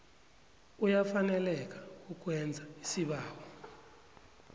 uyafaneleka kukwenza isibawo